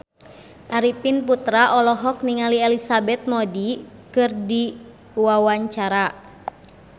Arifin Putra olohok ningali Elizabeth Moody keur diwawancara